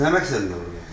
Bəs nə məqsədlə vurmusan?